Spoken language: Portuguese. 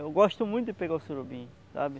Eu gosto muito de pegar o surubim, sabe?